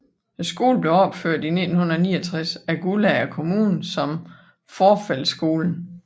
Skolen blev opført i 1969 af Guldager Kommune som Fourfeldtskolen